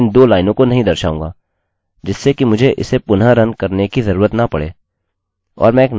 यह वर्तमान variable update कहलाएगा और यह mysql query फंक्शन के बराबर है